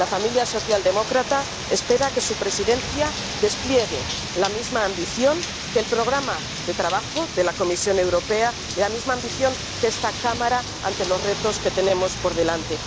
La familia socialdemócrata espera que su Presidencia despliegue la misma ambición que el programa de trabajo de la Comisión Europea, y la misma ambición que esta Cámara, ante los retos que tenemos por delante.